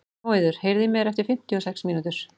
Móeiður, heyrðu í mér eftir fimmtíu og sex mínútur.